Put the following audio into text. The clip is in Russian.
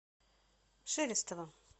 шелестова